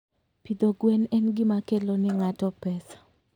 Pidho gwen en gima kelo ne ng'ato pesa.